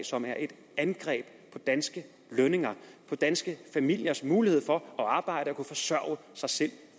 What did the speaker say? som er et angreb på danske lønninger på danske familiers mulighed for at arbejde og kunne forsørge sig selv